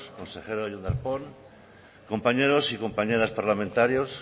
consejero jon darpón compañeras y compañeros parlamentarios